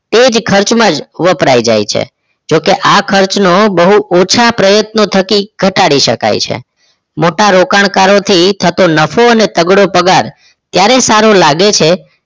તે જ ખર્ચમાં વપરાય જાય છે જોકે આ ખર્ચનો બહુ ઓછા પ્રયત્નો થકી ઘટાડી શકાય છે મોટા રોકાણકારોથી થતો નફો અને તગડો પગાર ત્યારે સારો લાગે છે